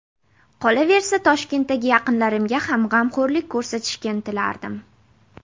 Qolaversa, Toshkentdagi yaqinlarimga ham g‘amxo‘rlik ko‘rsatishga intilardim.